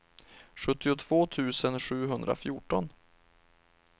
sjuttiotvå tusen sjuhundrafjorton